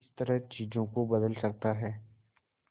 किस तरह चीजों को बदल सकता है